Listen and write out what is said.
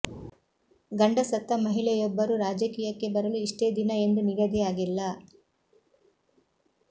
ಗಂಡ ಸತ್ತ ಮಹಿಳೆಯೊಬ್ಬರು ರಾಜಕೀಯಕ್ಕೆ ಬರಲು ಇಷ್ಟೆ ದಿನ ಎಂದು ನಿಗದಿಯಾಗಿಲ್ಲ